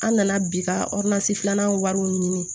An nana bi ka filanan wariw ɲini